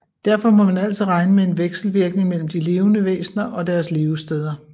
Derfor må man altid regne med en vekselvirkning mellem de levende væsner og deres levesteder